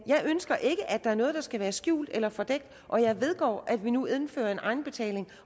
jeg ønsker ikke at der er noget der skal være skjult eller fordækt og jeg vedgår at vi nu indfører en egenbetaling